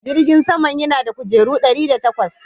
Jirgin saman yana da kujeru ɗari da takwas.